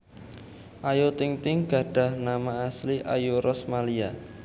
Ayu Ting Ting gadhah nama asli Ayu Rosmalia